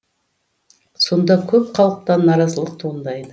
сонда көп халықтан наразылық туындайды